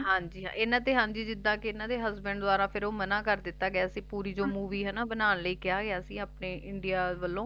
ਹਾਂਜੀ ਇਹਨਾਂ ਤੇ ਜਿੱਦਾ ਇਹਨਾਂ ਦੇ Husband ਦੁਆਰਾ ਫੇਰ ਓਹ ਮਨਾ ਕਰ ਦਿੱਤਾ ਗਿਆ ਸੀ ਪੂਰੀ ਜੌ ਮੂਵੀ ਹੈਨਾ ਬਣਾਨ ਲਈ ਕਿਹਾ ਗਿਆ ਸੀ ਆਪਣੇ ਇੰਡੀਆ ਵਲੋ